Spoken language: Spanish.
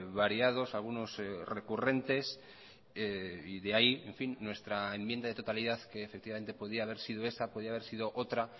variados algunos recurrentes y de ahí nuestra enmienda de totalidad que efectivamente podía haber sido esa podía haber sido otra